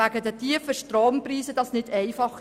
Wegen der tiefen Strompreise ist das nicht einfach.